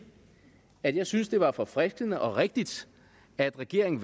at jeg synes det var forfriskende og rigtigt at regeringen